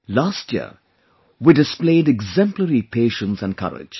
Last year, we displayed exemplary patience and courage